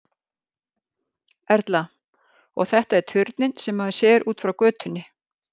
Erla: Og þetta er turninn sem maður sér út frá götunni?